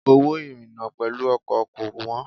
Owó ìrìna pẹ̀lú ọkọ̀ kò wọ́n.